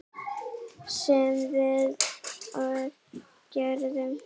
Sem við og gerðum.